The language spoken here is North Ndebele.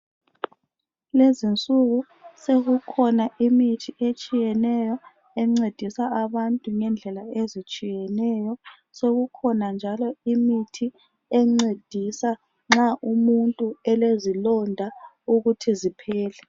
Kulezi insuku sokukhona imithi etshiyeneyo encedisa abantu ngendlela ezitshiyeneyo. Sokukhona njalo imithi encedisa nxa umuntu elezilonda ukuthi ziphele.